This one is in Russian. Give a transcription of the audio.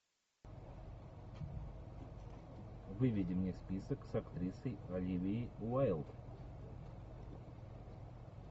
выведи мне список с актрисой оливией уайлд